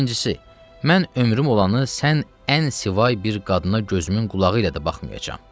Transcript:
İkincisi, mən ömrüm olanı sən ən sivay bir qadına gözümün qulağı ilə də baxmayacam.